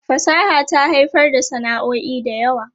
Fasaha ta haifar da sana'o'i da yawa.